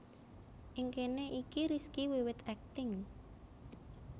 Ing kene iki Rizky wiwit akting